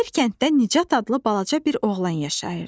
Bir kənddə Nicat adlı balaca bir oğlan yaşayırdı.